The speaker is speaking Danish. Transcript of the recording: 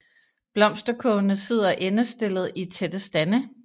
Blomsterkurvene sidder endestillet i tætte stande